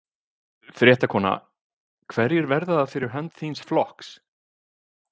Fréttakona: Hverjir verða það fyrir hönd þíns flokks?